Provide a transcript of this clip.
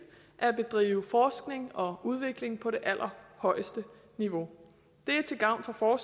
at bedrive forskning og udvikling på det allerhøjeste niveau det er til gavn for for